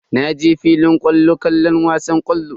Na je filin kwallo kallon wasan ƙwallon.